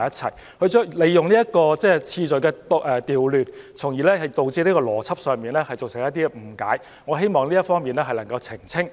他利用次序的調換，從而在邏輯上造成一些誤解，所以我希望能就這方面作出澄清。